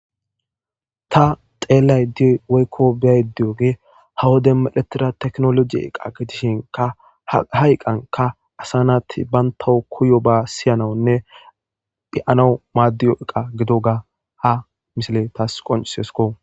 Ta xelayde woyko beyayde diyogey ha wodiyan medhetida tekinoloje eqa gidishinka ha eqanka asa nayti bantaw koyba siyanawnne be'anaw madiyo eqa gidoga ha misiley taw qoncisesko